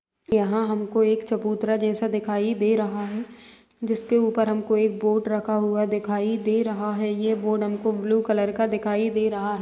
यहाँ हमको एक चबूतरा जैसा दिखाई दे रहा है जिसके ऊपर हमको बोर्ड रखा हुआ दिखाई दे रहा है ये बोर्ड हमको ब्लू कलर का दिखाई दे रहा है।